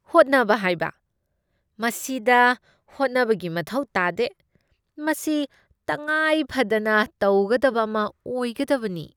ꯍꯣꯠꯅꯕ ꯍꯥꯏꯕ ? ꯃꯁꯤꯗ ꯍꯣꯠꯅꯕꯒꯤ ꯃꯊꯧ ꯇꯥꯗꯦ, ꯃꯁꯤ ꯇꯉꯥꯏꯐꯗꯅ ꯇꯧꯒꯗꯕ ꯑꯃ ꯑꯣꯏꯒꯗꯕꯅꯤ ꯫